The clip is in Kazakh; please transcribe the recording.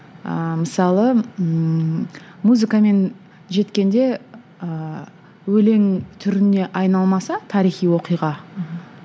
ыыы мысалы ыыы музыкамен жеткенде ыыы өлең түріне айналмаса тарихи оқиға